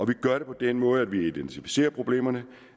det gør vi på den måde at vi identificerer problemerne og